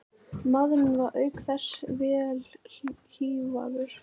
Maðurinn var auk þess vel hífaður